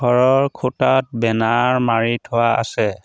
ঘৰৰ খুঁটাত বেনাৰ মাৰি থোৱা আছে।